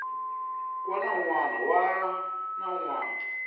wana un wana na un